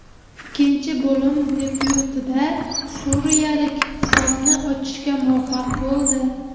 Ikkinchi bo‘lim debyutida suriyaliklar hisobni ochishga muvaffaq bo‘ldi.